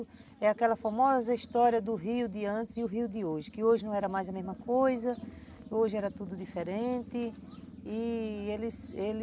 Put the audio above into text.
É aquela famosa história do rio de antes e o rio de hoje, que hoje não era mais a mesma coisa, hoje era tudo diferente e, eles, eles